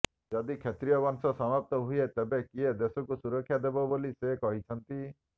ଯଦି କ୍ଷତ୍ରୀୟ ବଂଶ ସମାପ୍ତ ହୁଏ ତେବେ କିଏ ଦେଶକୁ ସୁରକ୍ଷା ଦେବ ବୋଲି ସେ କହିଛନ୍ତି